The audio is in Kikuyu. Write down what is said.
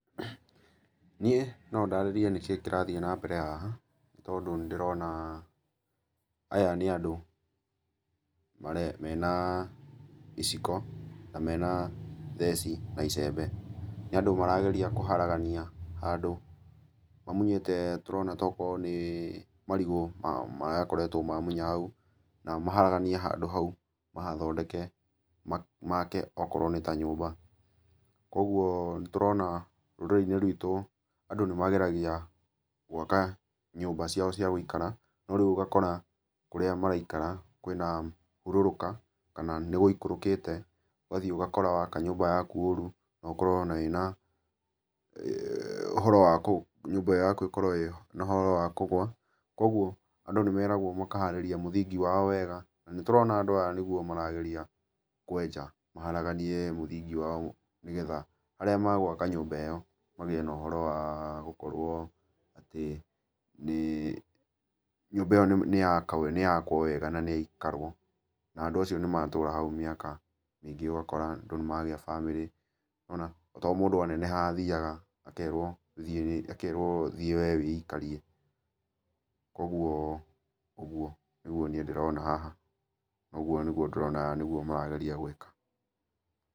Niĩ no ndarĩrĩe nĩkĩĩ kĩrathiĩ na mbere haha, nĩ tondũ nĩ ndĩrona aya nĩ andũ mena iciko, na mena theci na icembe. Nĩ andũ marageria kũharagania handũ mamunyĩte tũrona tokorwo nĩ marigũ mao marakoretwo mamunya hau, na maharagania handũ hau mahathondeke, maake okorwo nĩ ta nyũmba. Kũguo nĩ tũrona rũrĩrĩ-inĩ ruitũ andũ nĩ mageragia gwaka nyũmba ciao cia gũikara, no rĩu ũgakora kũrĩa maraikara kwĩna ihũrũrũka, kana nĩ gũikũrũkĩte. Ũgathiĩ ũgakora waka nyũmba yaku ũũru na ũkorwo ona wĩna ũhoro wa nyũmba yaku ĩkorwo ĩna ũhora wa kũgũa. Kũguo andũ nĩ meragwo makaharĩrĩa mũthingi wao wega. Nĩ tũrona andũ aya nĩguo marageria kwenja, maharaganie mũthingi wao nĩgetha harĩa magwaka nyũmba ĩyo magiĩ na ũhoro wa gũkorwo nyũmba ĩyo nĩ yakwo wega na nĩ yaikarwo. Na andũ acio nĩ matũũra hau mĩaka mĩingĩ ũgakora andũ nĩ magĩa bamĩrĩ. Ona to mũndũ aneneha athiaga, akerwo thiĩ akerwo thiĩ we wĩikarie. Kũguo nĩguo niĩ ndĩrona haha. Ũguo nĩguo ndĩrona nĩguo marageria gwĩka.